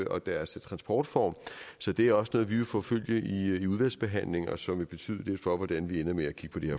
og deres transportform så det er også noget vi vil forfølge i udvalgsbehandlingen og som vil betyde lidt for hvordan vi ender med at kigge